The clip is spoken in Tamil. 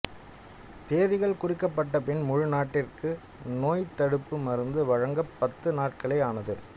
தேதிகள் குறிக்கப்பட்டபின் முழு நாட்டிற்கும் நோய்த்தடுப்பு மருந்து வழங்க பத்து நாட்களே ஆனது